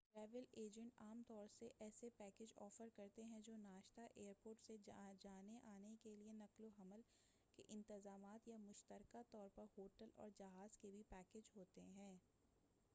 travel agent عام طور سے ایسے پیکچ آفر کرتے ہیں جو ناشتہ ایر پورٹ سے جانے آنے کے لئے نقل و حمل کے انتظامات یا مشترکہ طور پر ہوٹل اور جہاز کے بھی پیکج ہوتے ہیں